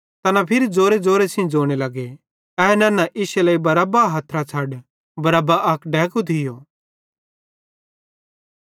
तैना फिरी ज़ोरेज़ोरे सेइं ज़ोने लगे ए नन्ना इश्शे लेइ बरअब्बा हथरां छ़ड बरअब्बा अक डैकू थियो